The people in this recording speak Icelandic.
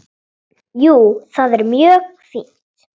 Jú, það er mjög fínt.